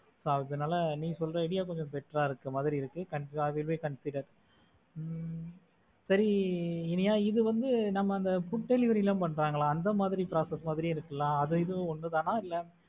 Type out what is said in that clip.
அதனால நீ சொல்ற idea கொஞ்சம் best டா இருக்கிற மாதிரி இருக்க i will consider ஹம் சரி இனியா இது வந்து நம்ம அந்த food delivery எல்லாம் பண்றாங்க அந்த மாதிரி process மாதிரி இருக்குல்ல அதுவும் இதுவும் ஒண்ணு தானா?